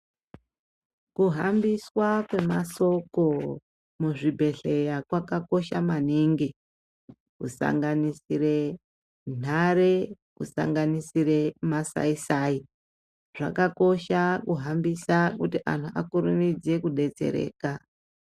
Kuhambiswa kwemasoko muzvibhedhlera kwakakosha maningi kusanganisire run hare kusanganisire masayisayi zvakakosha kuhambisa kuti anhu akurumidze kubetsreka .